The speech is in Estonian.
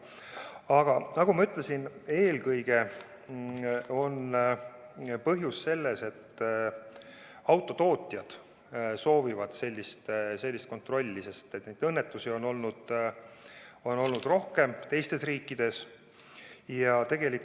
Aga nagu ma ütlesin, eelkõige on põhjus selles, et autotootjad soovivad sellist kontrolli, sest neid õnnetusi on teistes riikides olnud rohkem.